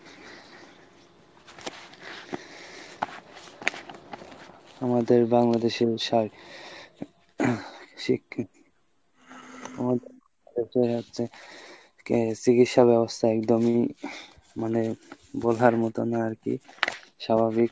আমাদের বাংলাদেশে শার দেখা যাচ্ছে চিকিৎসা ব্যবস্থা একদমই মানে বলার loughing মতো না আরকি , স্বাভাবিক।